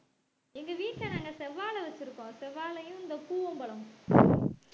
எங்க வீட்டுல நாங்க செவ்வாழை வச்சிருக்கோம் செவ்வாழையும் இந்த பூவம் பழமும்